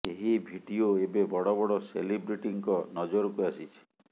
ଏହି ଭିଡିଓ ଏବେ ବଡ଼ ବଡ଼ ସେଲିବ୍ରିଟିଙ୍କ ନଜରକୁ ଆସିଛି